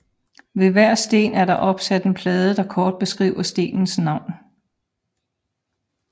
Ved hver sten er der opsat en plade der kort beskriver stenens navn